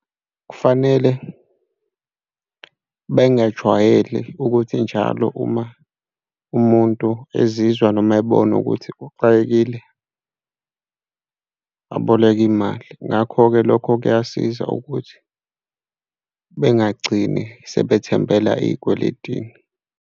Kufanele bengajwayeli ukuthi njalo uma umuntu ezizwa noma ebona ukuthi uxakekile aboleke imali. Ngakho-ke lokho kuyasiza ukuthi bengagcini sebethembela ey'kweletini.